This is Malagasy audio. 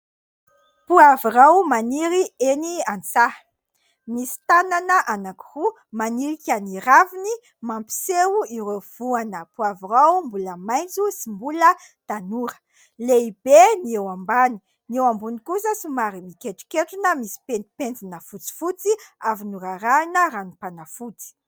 Poavirao maniry eny an- tsaha ; misy tanana anankiroa manilika ny raviny, mampiseho ireo voana poavirao mbola maitso sy mbola tanora. Lehibe ny eo ambany, ny eo ambony kosa somary mikentronketrona misy pentimpentina fotsifotsy avy norarahina ranom- panafody.